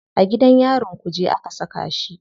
A gidan yarin kuje aka saka shi.